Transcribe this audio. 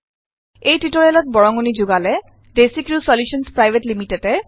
এই টিউটৰিয়েলত বৰঙনি যোগালে ডেচিক্ৰিউ চলিউশ্যনছ পিভিটি